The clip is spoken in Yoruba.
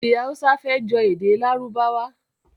Èdè Hausa fẹ́ jọ èdè Lárúbáwá díẹ̀